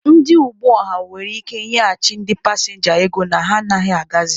Ndị ụgbọ ọha nwere ike nyeghachi ndị pasịnja ego na ha anaghị agazị.